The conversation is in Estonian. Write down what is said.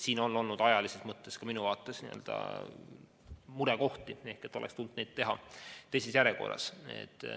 Siin on ajalises mõttes ka minu arvates olnud murekohti ehk et oleks tulnud toimida teises järjekorras.